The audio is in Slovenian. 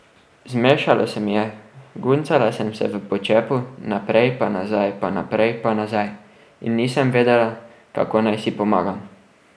Zmešalo se mi je, guncala sem se v počepu naprej pa nazaj pa naprej pa nazaj, in nisem vedela, kako naj si pomagam.